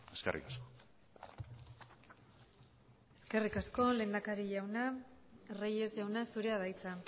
eskerrik asko eskerrik asko lehendakari jauna reyes jauna zurea da hitza